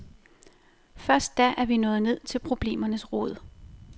Først da er vi nået ned til problemernes rod.